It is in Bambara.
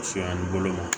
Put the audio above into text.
Siyɛ ni bolo ma